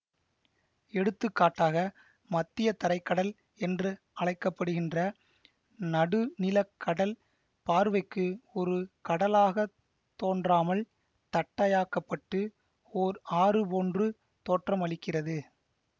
எடுத்துக்காட்டாக மத்தியதரை கடல் என்று அழைக்கப்படுகின்ற நடுநிலக் கடல் பார்வைக்கு ஒரு கடலாகத் தோன்றாமல் தட்டையாக்கப்பட்டு ஓர் ஆறு போன்று தோற்றம் அளிக்கிறது